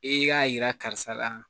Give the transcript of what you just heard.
E k'a yira karisa la